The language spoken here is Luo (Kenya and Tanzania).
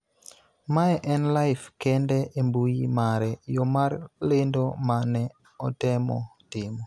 Mae en Life kende e mbui mare, yo mar lendo ma ne otemo timo.